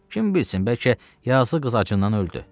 Kim bilsin, bəlkə yazıq qız acından öldü.